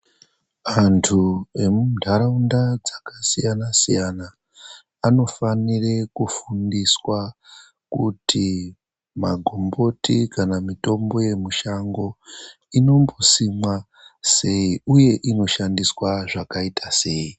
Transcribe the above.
Antu emuntaraunda dzakasiyana siyana anofanire kufunduswa kuti magumboti kana mitombo yemushango inombosimwa sei uye inomboshandiswa zvakaita sei.